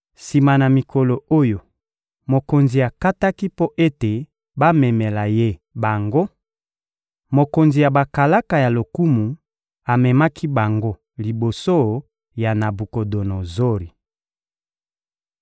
Sima na mikolo oyo mokonzi akataki mpo ete bamemela ye bango, mokonzi ya bakalaka ya lokumu amemaki bango liboso ya Nabukodonozori.